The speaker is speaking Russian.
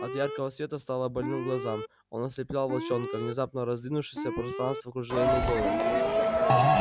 от яркого света стало больно глазам он ослеплял волчонка внезапно раздвинувшееся пространство кружило ему голову